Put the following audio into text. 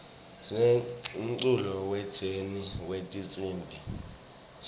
sinemculo we jeni wetinsimb